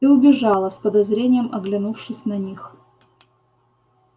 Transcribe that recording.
и убежала с подозрением оглянувшись на них